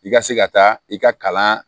I ka se ka taa i ka kalan